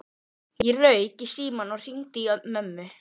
Ég rauk í símann og hringdi í mömmu.